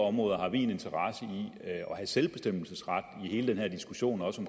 områder har vi en interesse i at have selvbestemmelsesret i hele den her diskussion også